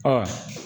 Ɔ